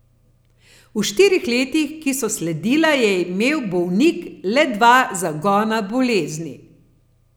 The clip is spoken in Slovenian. V štirih letih, ki so sledila, je imel bolnik le dva zagona bolezni.